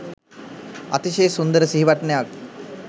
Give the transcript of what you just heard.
අතිශය සුන්දර සිහිවටනයක්